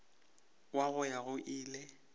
wa go ya go ile